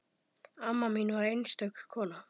Amma mín var einstök kona.